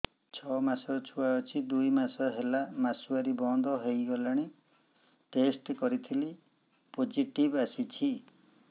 ଛଅ ମାସର ଛୁଆ ଅଛି ଦୁଇ ମାସ ହେଲା ମାସୁଆରି ବନ୍ଦ ହେଇଗଲାଣି ଟେଷ୍ଟ କରିଥିଲି ପୋଜିଟିଭ ଆସିଛି